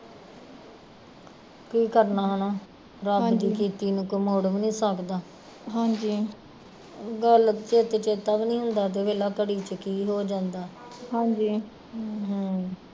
ਕੀ ਕਰਨਾ ਹੈਨਾ ਰੱਬ ਦੀ ਕੀਤੀ ਨੂੰ ਕੋਈ ਮੋੜ ਵੀ ਨੀ ਸਕਦਾ ਗੱਲ ਚਿੱਤ ਚੇਤਾ ਵੀ ਨੀ ਹੁੰਦਾ ਤੇ ਵੇਖਲਾ ਘੜੀ ਚ ਕੀ ਹੋ ਜਾਂਦਾ ਹਮ